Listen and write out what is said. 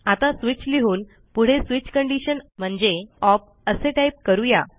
आता स्विच लिहून पुढे switchकंडिशन म्हणजे ओप असे टाईप करू या